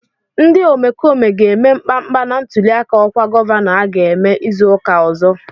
Ndị omekome ga-eme mkpamkpa na ntụliaka ọkwa gọvanọ aga eme izu ụka ọzọ.